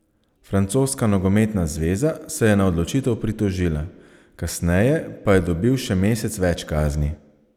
Francoska nogometna zveza se je na odločitev pritožila, kasneje pa je dobil še mesec več kazni.